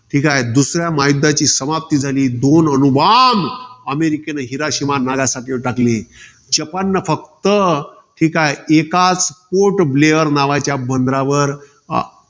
दुसऱ्या महायुद्धाची समाप्ती झाली. दोन अणुबॉम्ब अमेरिकेने, हिराशिमा नागासाकीवर टाकले. जपाननं फक्त, एकाच पोर्टब्लेअर नावाच्या बंदरावर